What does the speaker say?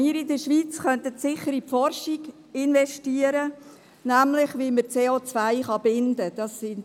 Wir in der Schweiz könnten sicher in die Forschung investieren und erforschen, wie man CO binden kann.